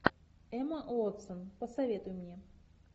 эмма уотсон посоветуй мне